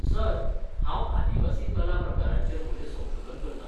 Sir, हांव आदिवासी कला प्रकारांचेर म्हजें संशोधन करतां.